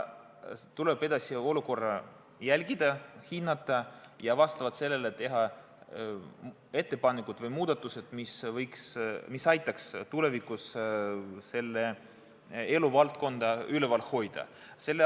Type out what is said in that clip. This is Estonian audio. Tuleb edasi olukorda jälgida, hinnata ja teha ettepanekud või muudatused, mis aitaks tulevikus seda eluvaldkonda üleval hoida.